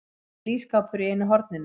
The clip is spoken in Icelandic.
Lítill ísskápur í einu horninu.